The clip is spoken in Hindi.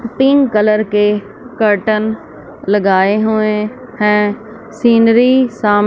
पिंक कलर के कर्टन लगाए हुए हैं सीनरी साम--